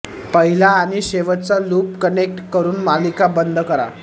पहिला आणि शेवटचा लूप कनेक्ट करून मालिका बंद करा